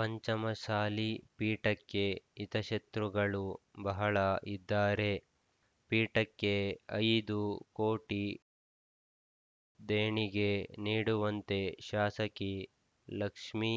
ಪಂಚಮಸಾಲಿ ಪೀಠಕ್ಕೆ ಹಿತಶತ್ರುಗಳು ಬಹಳ ಇದ್ದಾರೆ ಪೀಠಕ್ಕೆ ಐದು ಕೋಟಿ ದೇಣಿಗೆ ನೀಡುವಂತೆ ಶಾಸಕಿ ಲಕ್ಷ್ಮೀ